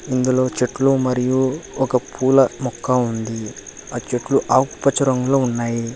ఇందులో చెట్లు మరియు ఒక పూల మొక్క ఉంది ఆ చెట్లు ఆకుపచ్చ రంగులో ఉన్నాయి.